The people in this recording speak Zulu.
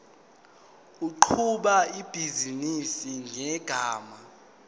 oqhuba ibhizinisi ngegama